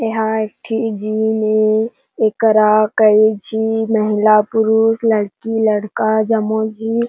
ये हा एक ठी जिम ए येकरा कई झी महिला-पुरुष लड़की-लड़का जम्मो झी--